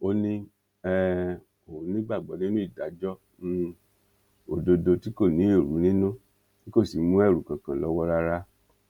ó ní um òun nígbàgbọ nínú ìdájọ um òdodo tí kò ní èrú nínú tí kò sì mú ẹrù kankan lọwọ rárá